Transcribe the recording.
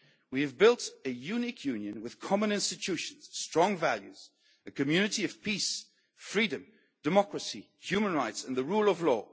ashes. We have built a unique Union with common institutions, strong values, a community of peace, freedom, democracy, human rights and the rule of law'.